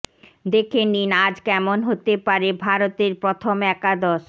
দেখে নিন আজ কেমন হতে পারে ভারতের প্রথম একাদশ